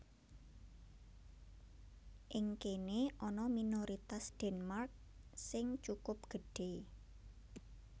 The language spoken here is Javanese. Ing kéné ana minoritas Denmark sing cukup gedhé